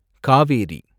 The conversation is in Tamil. காவேரி